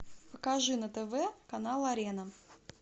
покажи на тв канал арена